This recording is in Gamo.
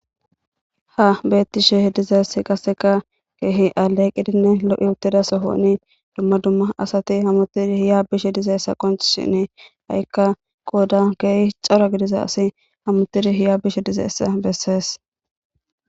ha beettishe dizes qaseka keehi aleqqidinne lo7i uttidasohooni dumma dumma asati hamutidi hiya bishe dizeessa qonch shine ha7ikka qooda keehi xara gidiza asi hamutidi hiya bishe dizeessa bessees